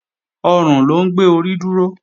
Ọrùn ló ń gbé orí dúró